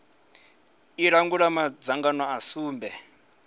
i langula madzangano a sumbe